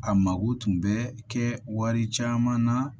A mago tun bɛ kɛ wari caman na